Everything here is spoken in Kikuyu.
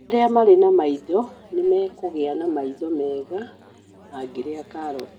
Arĩa marĩ na maitho nĩ mekũgĩa na maitho mega mangĩrĩa karoti.